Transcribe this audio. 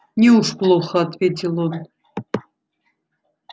неуж плохо ответил он